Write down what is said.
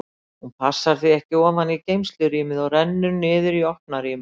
Hún passar því ekki ofan í geymslurýmið og rennur niður í opna rýmið.